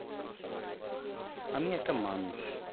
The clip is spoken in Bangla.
আমি একটা মানুষ.